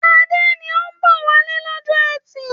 Adé ni ó ń bọ̀ wálé lọ́jọ́ ẹtì.